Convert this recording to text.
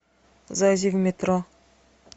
зайди в метро